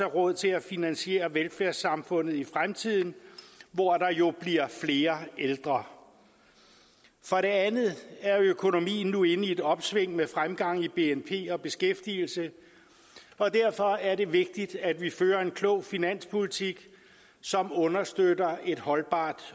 råd til at finansiere velfærdssamfundet i fremtiden hvor der jo bliver flere ældre for det andet er økonomien nu inde i et opsving med fremgang i bnp og beskæftigelse og derfor er det vigtigt at vi fører en klog finanspolitik som understøtter et holdbart